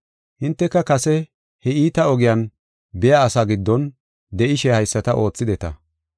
Hinteka kase he iita ogiyan biya asaa giddon de7ishe haysata oothideta.